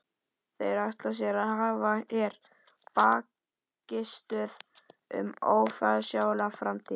Þeir ætla sér að hafa hér bækistöð um ófyrirsjáanlega framtíð!